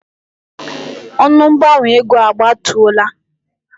Ọnụ mgbanwe ego a gbatuola.